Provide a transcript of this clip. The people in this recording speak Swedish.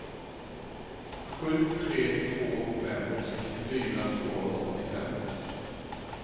sju tre två fem sextiofyra tvåhundraåttiofem